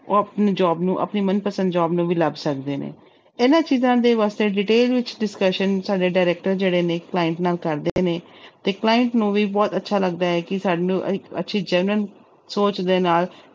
ਉਹ ਆਪਣੀ job ਨੂੰ ਆਪਣੀ ਮਨਪਸੰਦ job ਨੂੰ ਵੀ ਲੱਭ ਸਕਦੇ ਨੇ, ਇਹਨਾਂ ਚੀਜ਼ਾਂ ਦੇ ਵਾਸਤੇ detail ਵਿੱਚ discussion ਸਾਡੇ director ਜਿਹੜੇ ਨੇ client ਨਾਲ ਕਰਦੇ ਨੇ ਤੇ client ਨੂੰ ਵੀ ਬਹੁਤ ਅੱਛਾ ਲੱਗਦਾ ਹੈ ਕਿ ਸਾਨੂੰ ਇੱਕ ਅੱਛੀ genuine ਸੋਚ ਦੇ ਨਾਲ